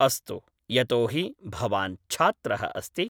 अस्तु यतोहि भवान्‌ छात्रः अस्ति